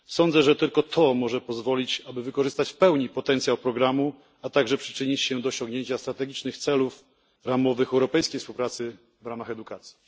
Sądzę, że tylko to może pozwolić na pełne wykorzystanie potencjału programu oraz przyczynić się do osiągnięcia strategicznych celów ramowych europejskiej współpracy w ramach edukacji.